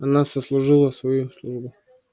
она сослужила свою службу